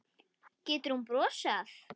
Getur hún brosað?